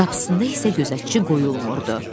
Qapısında isə gözətçi qoyulmurdu.